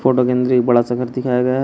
बड़ा सा घर दिखाया गया--